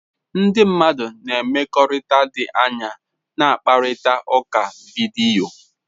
Ndị mmadụ na mmekọrịta dị anya na-akparịta ụka vidiyo.